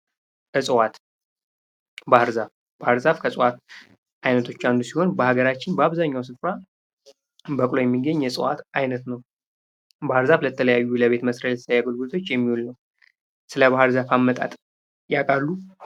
እጽዋት ባህር ዛፍ ከእጽዋት አይነቶች አንዱ ሲሆን በአገራችን በአብዛኛው ስፍራ በቅሎ የሚገኝ የእጽዋት አይነት ነው። ባህር ዛፍ የተለያዩ ለቤት መስሪያ አገልግሎቶች የሚውል ነው። ስለባህር ዛፍ አመጣጥ ያቃሉ?